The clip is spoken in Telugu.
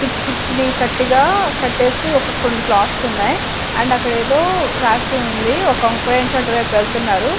పిచ్చి పిచ్చి ని కట్టిగా కట్టేసి ఒక కొన్నీ క్లాత్స్ ఉన్నాయ్ అండ్ అక్కడేదో రాసి ఉంది ఒక అటువైప్ వెల్తున్నారు--